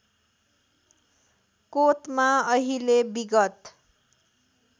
कोतमा अहिले विगत